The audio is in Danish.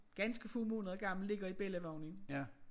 Ganske få måneder gammel ligger i bellivognen